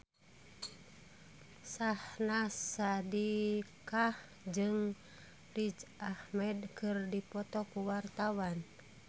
Syahnaz Sadiqah jeung Riz Ahmed keur dipoto ku wartawan